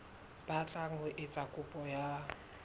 batlang ho etsa kopo ya